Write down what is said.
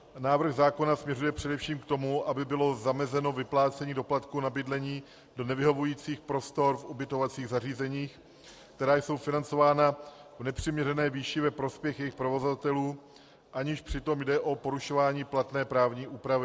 Návrh zákona směřuje především k tomu, aby bylo zamezeno vyplácení doplatku na bydlení do nevyhovujících prostor v ubytovacích zařízeních, která jsou financována v nepřiměřené výši, ve prospěch jejich provozovatelů, aniž přitom jde o porušování platné právní úpravy.